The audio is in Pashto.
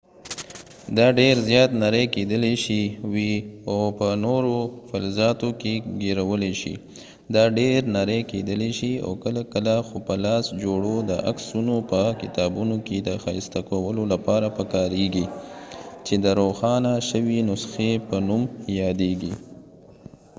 دا ډیر زیات نري کیدلې شي وي او په نورو فلزاتو کې ګیرولی شي دا ډیر نري کیدلې شي او کله کله خو په لاس جوړو د عکسونو په کتابونو کې د ښایسته کولو لپاره پکارېږي چې د روښانه شوي نسخې په نوم یادېږي